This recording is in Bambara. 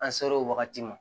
An ser'o wagati ma